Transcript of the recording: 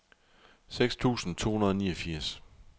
seks tusind to hundrede og niogfirs